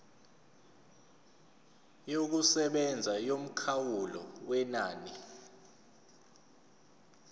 yokusebenza yomkhawulo wenani